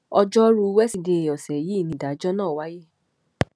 ọjọ́rú wẹ́ṣìdeè ọ̀sẹ̀ yìí nìdájọ́ náà wáyé